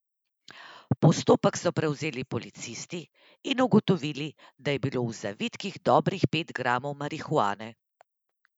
Postopek so prevzeli policisti in ugotovili, da je bilo v zvitkih dobrih pet gramov marihuane.